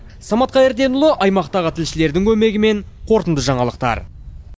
самат қайырденұлы аймақтағы тілшілердің көмегімен қорытынды жаңалықтар